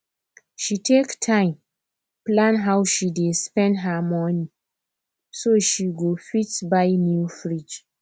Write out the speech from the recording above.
she take time plan how she dey spend her money so she go fit buy new fridge